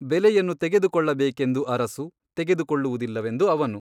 ಬೆಲೆಯನ್ನು ತೆಗೆದುಕೊಳ್ಳಬೇಕೆಂದು ಅರಸು ತೆಗೆದುಕೊಳ್ಳುವುದಿಲ್ಲವೆಂದು ಅವನು.